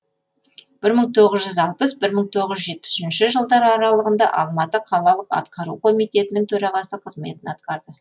бір мың тоғыз жүз алпыс бір мың тоғыз жүз жетпіс үшінші жылдар аралығында алматы қалалық атқару комитетінің төрағасы қызметін атқарды